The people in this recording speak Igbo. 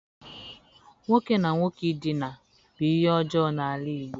Nwoke na nwoke ị dina bu ihe ojoo n'ala Igbo.